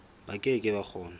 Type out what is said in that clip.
ba ke ke ba kgona